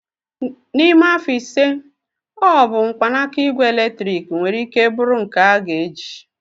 N'ime afọ ise, ọ bụ mkpanaka igwe eletrik nwere ike bụrụ nke a ga-eji.